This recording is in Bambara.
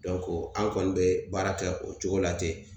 an kɔni be baara kɛ o cogo la ten.